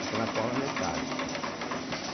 Fica na forma metálica.